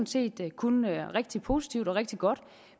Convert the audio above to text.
set kun rigtig positivt og rigtig godt